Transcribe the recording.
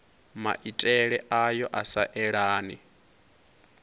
maitele ayo a sa elani